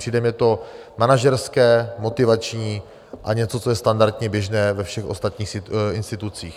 Přijde mně to manažerské, motivační a něco, co je standardně běžné ve všech ostatních institucích.